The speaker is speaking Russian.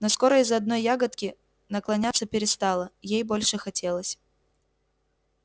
но скоро из-за одной ягодки наклоняться перестала ей больше хотелось